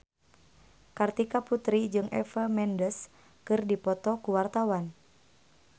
Kartika Putri jeung Eva Mendes keur dipoto ku wartawan